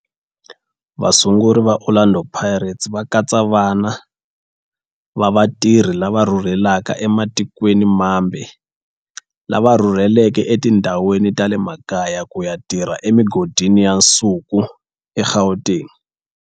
Vasunguri va Orlando Pirates va katsa vana va vatirhi lava rhurhelaka ematikweni mambe lava rhurheleke etindhawini ta le makaya ku ya tirha emigodini ya nsuku eGauteng.